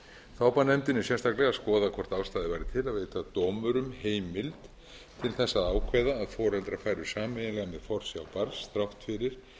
þá bar nefndinni sérstaklega að skoða hvort ástæða væri til að veita dómurum heimild til að ákveða að foreldrar færu sameiginlega með forsjá barns þrátt fyrir